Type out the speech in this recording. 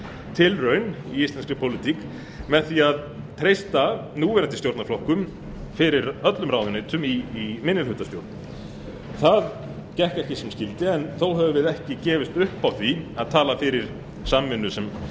tilraun í íslenskri pólitík með því að treysta núverandi stjórnarflokkum fyrir öllum ráðuneytum í minnihlutastjórn það gekk ekki sem skyldi en þó höfum við ekki gefist upp á því að tala fyrir samvinnu